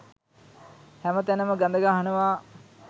හැමතැනම ගද ගහනවා